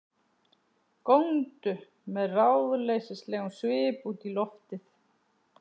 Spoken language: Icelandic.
Góndu með ráðleysislegum svip út í loftið.